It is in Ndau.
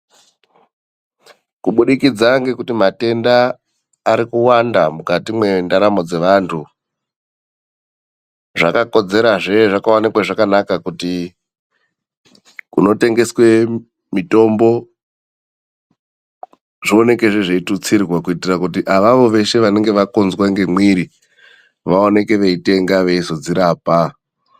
Kubudikidza ngekuti matenda arikuwanda mukati mwendaramo dzevandu. Zvakakodzerazve, zvakaonekwa zvakanaka kuti kunotengeswe mitombo zvioonekezve zveitutsirwa kuitira kuti avavo veshe vanenge vakunzwe ngemwiri vaoneke veitenga veizodzirapa.